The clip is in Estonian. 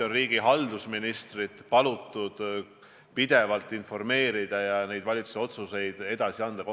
Riigi haldusministril on palutud omavalitsusi pidevalt informeerida ja neile valitsuse otsuseid edasi anda.